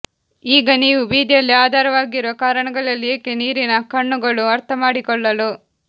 ಈಗ ನೀವು ಬೀದಿಯಲ್ಲಿ ಆಧಾರವಾಗಿರುವ ಕಾರಣಗಳಲ್ಲಿ ಏಕೆ ನೀರಿನ ಕಣ್ಣುಗಳು ಅರ್ಥಮಾಡಿಕೊಳ್ಳಲು